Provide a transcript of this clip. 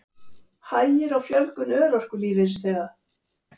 Hægir á fjölgun örorkulífeyrisþega